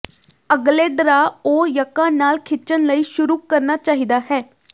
ਅਗਲੇ ਡਰਾਅ ਉਹ ਯੱਕਾ ਨਾਲ ਖਿੱਚਣ ਲਈ ਸ਼ੁਰੂ ਕਰਨਾ ਚਾਹੀਦਾ ਹੈ